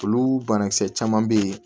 Olu banakisɛ caman bɛ yen